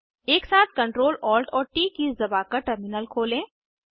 एकसाथ Ctrl Alt और T keys दबाकर टर्मिनल खोलें